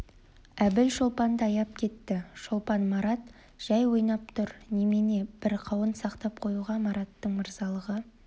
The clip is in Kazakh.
әбіл шолпанды аяп кетті шолпан марат жай ойнап тұр немене бір қауын сақтап қоюға мараттың мырзалығы